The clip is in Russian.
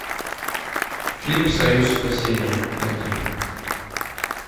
фильм союз спасения найти